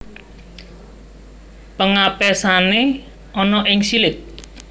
Pengapesané ana ing silit